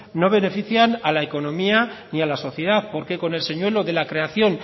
no benefician a la economía ni a la sociedad porque con el señuelo de la creación